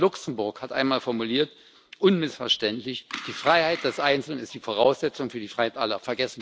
Rosa Luxemburg hat einmal formuliert, unmissverständlich Die Freiheit des Einzelnen ist die Voraussetzung für die Freiheit aller.